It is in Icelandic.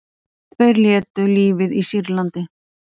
Tveir létu lífið í Sýrlandi